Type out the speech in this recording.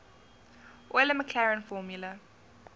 euler maclaurin formula